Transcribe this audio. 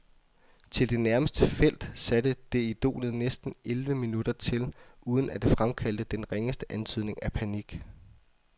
Til det nærmeste felt, satte det idolet næsten elleve minutter til, uden at det fremkaldte den ringeste antydning af panik.